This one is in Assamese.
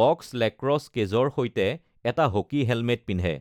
বক্স লেক্ৰছ কেজৰ সৈতে এটা হকী হেলমেট পিন্ধে।